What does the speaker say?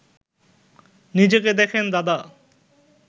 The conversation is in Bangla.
নিজেকে দেখেন দাদা